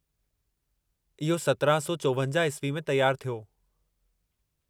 इहो 1754 ईस्वी में तियारु थियो।